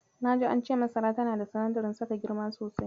Na ji cewa masara tana da sinadarin saka girma sosai.